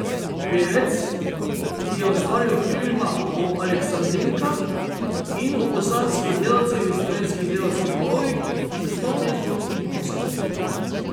Pevec, ki je ustvaril filma o aleksandrinkah in o bosanskih delavcih v slovenskih delavskih domovih, se s to tezo ni povsem strinjal.